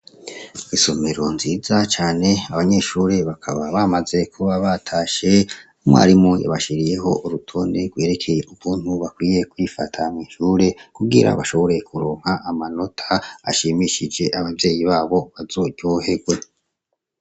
Isomero nziza cane abanyeshuri bakaba bamaze kuba batashe umwarimu ybashiriyeho urutonde rwerekeye ubuntu bakwiye kwifata mw' inshure kuwira bashoboraye kuronka amanota ashimishije abavyeyi babo bazoryoherwe.